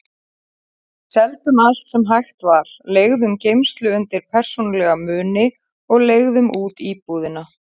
Við seldum allt sem hægt var, leigðum geymslu undir persónulega muni og leigðum út íbúðina.